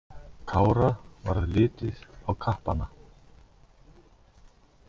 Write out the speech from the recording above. Kára varð litið á kappana.